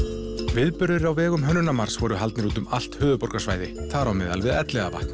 viðburðir á vegum Hönnunarmars voru haldnir út um allt höfuðborgarsvæði þar á meðal við Elliðavatn